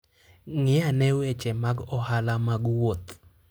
Ng'i ane weche mag ohala mag wuoth.